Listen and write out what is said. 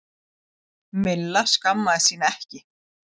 Milla skammaðist sín ekki.